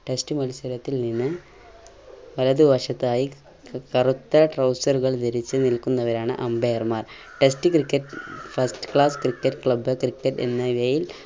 test മത്സരത്തിൽ നിന്ന് വലതുവശത്തായി ക് കറുത്ത trouser കൾ ധരിച്ചു നിൽക്കുന്നവരാണ് umpire മാർ test cricket first class cricket club cricket എന്നിവയിൽ